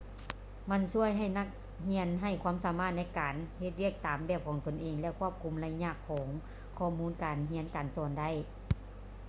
ມັນຊ່ວຍໃຫ້ນັກຮຽນໃຊ້ຄວາມສາມາດໃນການເຮັດວຽກຕາມແບບຂອງຕົນເອງ ແລະ ຄວບຄຸມໄລຍະຂອງຂໍ້ມູນການຮຽນການສອນໄດ້